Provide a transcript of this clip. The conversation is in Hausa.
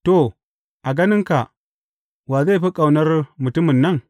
To, a ganinka, wa zai fi ƙaunar mutumin nan?